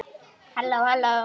Líklega þó heldur með illu.